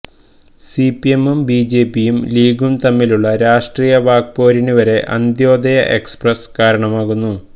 സിപിഎമ്മും ബിജെപിയും ലീഗും തമ്മിലുളള രാഷ്ട്രീയ വാക്പോരിന് വരെ അന്ത്യോദയ എക്സ്പ്രസ് കാരണമായിരുന്നു